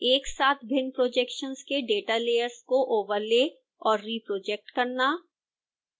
एक साथ भिन्न projections के data layers को ओवरले और रिप्रोजेक्ट करना